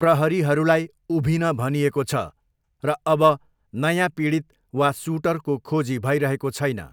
प्रहरीहरूलाई उभिन भनिएको छ र अब नयाँ पीडित वा सुटरको खोजी भइरहेको छैन।